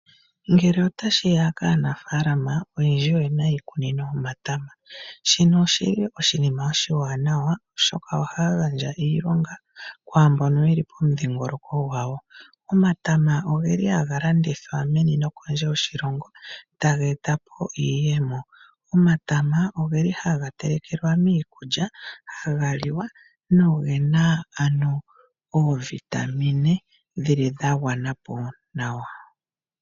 Ngele otashi ya kaanafalama oyendji oye na iikunino yomatama, shino oshili oshinima oshiwanawa osho ohaya gandja iilonga kwaa mboka ye li pomuthingoloko gwawo. Omatama oge li haga landithwa meni nokondje yoshilongo taga eta po iiyemo. Omatama oge li haga telekelwa miikulya, haga liwa nogena ano oovitamine dhili dha gwana po nawa.